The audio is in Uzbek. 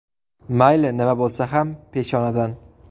Mayli, nima bo‘lsa ham peshonadan.